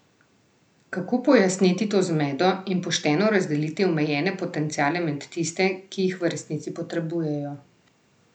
Kako pojasniti to zmedo in pošteno razdeliti omejene potenciale med tiste, ki jih v resnici potrebujejo?